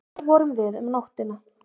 Þar vorum við um nóttina.